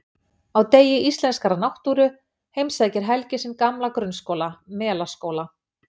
Á degi íslenskrar náttúru heimsækir Helgi sinn gamla grunnskóla, Melaskóla.